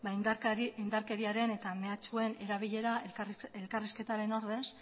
indarkeriaren eta mehatxuen erabilera elkarrizketaren ordez